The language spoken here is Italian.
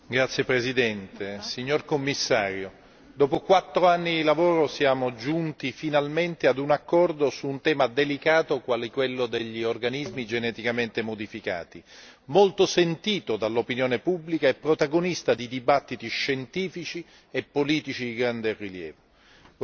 Signora Presidente, onorevoli colleghi, signor Commissario, dopo quatto anni di lavoro siamo giunti finalmente a un accordo su un tema delicato quale quello degli organismi geneticamente modificati, molto sentito dall'opinione pubblica e protagonista di dibattiti scientifici e politici di grande rilievo.